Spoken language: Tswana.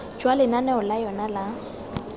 jwa lenaneo la yona la